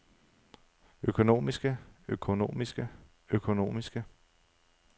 økonomiske økonomiske økonomiske